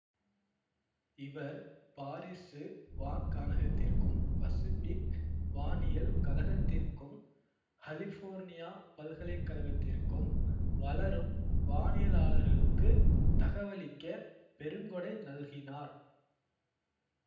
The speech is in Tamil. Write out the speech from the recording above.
இவர் பாரிசு வான்காணகத்திற்கும் பசிபிக் வானியல் கழகத்திற்கும் கலிஃபோர்னியா பல்கலைக்கழகத்திற்கும் வளரும் வானியலாளர்களுக்குத் தகவளிக்க பெருங்கொடை நல்கினார்